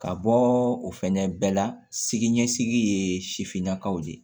Ka bɔ o fɛnɛ bɛɛ la siginisigi ye sifinnakaw de ye